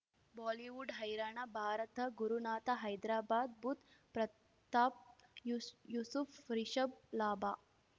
Bollywood ಹೈರಾಣ ಭಾರತ ಗುರುನಾಥ ಹೈದ್ರಾಬಾದ್ ಬುಧ್ ಪ್ರತಾಪ್ ಯೂ ಯೂಸುಫ್ ರಿಷಬ್ ಲಾಭ